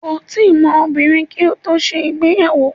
Kò tíì mọ obìnrin kí ó tó ṣe ìgbéyàwó.